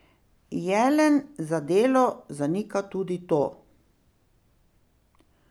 Jelen za Delo zanika tudi to.